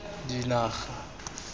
dinaga